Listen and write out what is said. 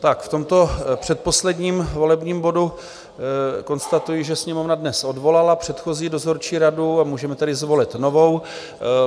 V tomto předposledním volebním bodu konstatuji, že Sněmovna dnes odvolala předchozí dozorčí radu, a můžeme tedy zvolit novou.